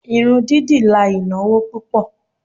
Irun dídì la ìnáwó púpò.